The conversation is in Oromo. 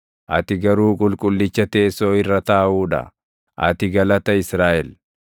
Ati garuu Qulqullicha teessoo irra taaʼuu dha; ati galata Israaʼel.